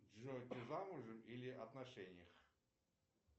джой ты замужем или в отношениях